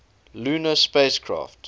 lunar spacecraft